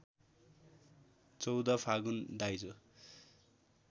१४ फागुन दाइजो